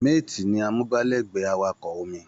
Mate ni amúgbálẹ́gbẹ̀ẹ́ awakọ̀ omi